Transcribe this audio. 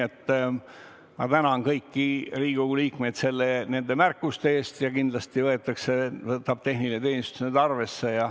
Aga ma tänan kõiki Riigikogu liikmeid nende märkuste eest ja kindlasti võtab tehniline teenistus need arvesse.